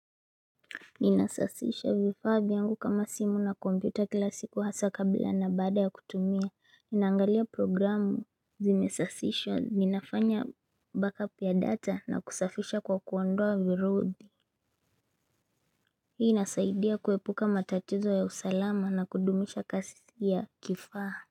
Ninasasisha vifaa vyangu kama simu na kompyuta kila siku hasa kabila na baada ya kutumia, ninaangalia programu zimesasisha, ninafanya back up ya data na kusafisha kwa kuondoa virubi Hii inasaidia kuepuka matatizo ya usalama na kudumisha kasi ya kifaa.